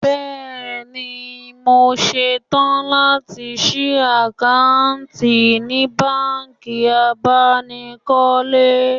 Bẹ́ẹ̀ni, mo ṣetán láti ṣí àkáǹtì ní báǹkì abánikọ́lé